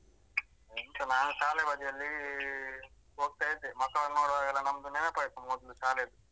ಎಂತ ನಾನ್ ಶಾಲೆ ಬದಿಯಲ್ಲಿ ಹೋಗ್ತ ಇದ್ದೆ ಮಕ್ಳನ್ ನೋಡುವಾಗೆಲ್ಲ ನಮ್ದು ನೆನ್ಪಾಯ್ತು ಮೊದ್ಲು ಶಾಲೆದು.